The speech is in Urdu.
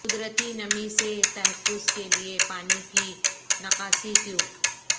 قدرتی نمی سے تحفظ کے لئے پانی کی نکاسی ٹیوب